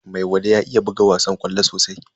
Maiwada ya iya buga wasan ƙwallo sosai.